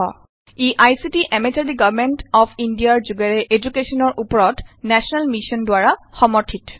E ICT MHRD government of ইণ্ডিয়াৰ যোগেৰে এদুকেশ্যনৰ উপৰত নেশ্যনেল মিচন দ্বাৰা সমৰ্থিত